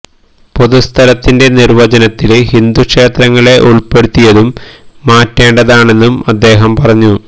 പൊതു സ്ഥലത്തിന്റെ നിര്വ്വചനത്തില് ഹിന്ദു ക്ഷേത്രങ്ങളെ ഉള്പ്പെടുത്തിയതും മാറ്റേണ്ടതാണെന്നും അദ്ദേഹം പറഞ്ഞു